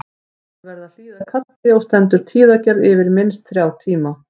Allir verða að hlýða kalli og stendur tíðagerð yfir minnst þrjá tíma.